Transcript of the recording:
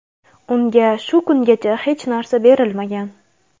Unga shu kungacha hech narsa berilmagan.